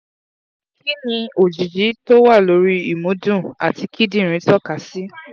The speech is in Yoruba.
kí ni òjìji tó wà lórí ìmúdùn àti kidinrin toka si?